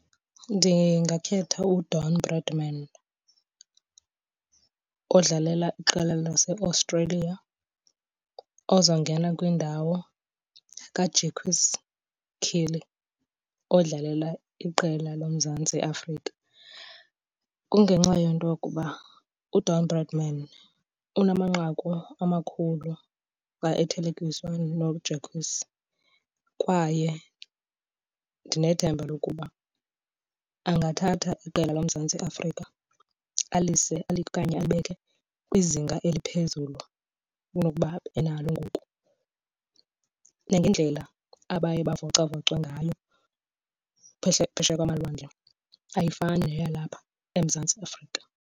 Ndingakhetha uDon Bradman odlalela iqela laseAustralia ozawungena kwindawo kaJacques Kallis odlalela iqela loMzantsi Afrika. Kungenxa yento yokuba uDon Bradman unamanqaku amakhulu xa ethelekiswa noJacques kwaye ndinethemba lokuba angathatha iqela loMzantsi Afrika alise okanye alibeke kwizinga eliphezulu kunokuba enalo ngoku. Nangendlela abaye bavocavocwe ngayo phesheya kwamalwandle ayifani neyalapha eMzantsi Afrika.